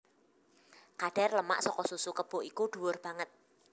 Kadhar lemak saka susu kebo iku dhuwur banget